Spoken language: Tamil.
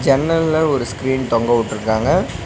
ஜன்னல்ல ஒரு ஸ்கிரீன் தொங்க விட்டுருக்காங்க.